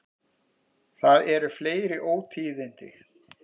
Það eru fleiri ótíðindi.